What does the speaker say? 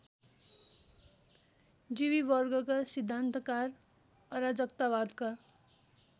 जीवीवर्गका सिद्धान्तकार अराजकतावादका